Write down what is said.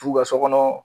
T'u ka so kɔnɔ